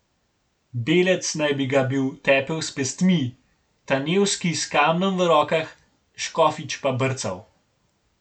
Belec naj bi ga bil tepel s pestmi, Tanevski s kamnom v rokah, Škofič pa brcal.